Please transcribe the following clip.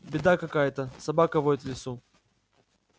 беда какая-то собака воет в лесу